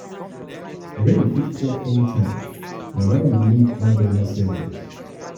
rain fit fall anytime na why we need why we need umbrella savings.